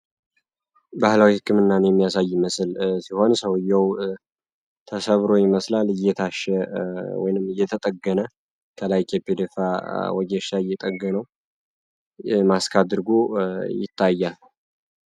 ባህላዊ ህክምና የሚያሳይ ሲሆን ሰውየው ተሰብሮ ይመስላል እየታሸ ወይንም እየተጠገነሻ እየጠገነዉ ማስክ አድርጎ ይታያል።